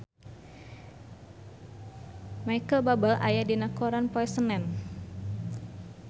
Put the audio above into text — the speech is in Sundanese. Micheal Bubble aya dina koran poe Senen